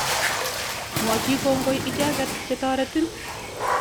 Mwochi kongoi icheket che toretin.